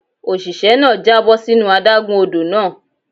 Òṣìṣẹ́ náà já bọ́ sínú adágún odò náà.